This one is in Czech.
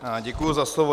Děkuji za slovo.